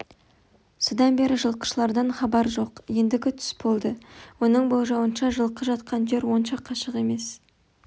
содан бері жылқышылардан хабар жоқ ендігі түс болды оның болжауынша жылқы жатқан жер онша қашық емес